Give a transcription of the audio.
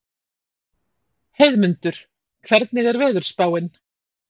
Heiðmundur, hvernig er veðurspáin?